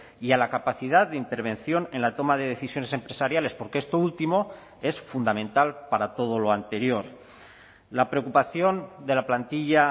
y a la capacidad de intervención en la toma de decisiones empresariales porque esto último es fundamental para todo lo anterior la preocupación de la plantilla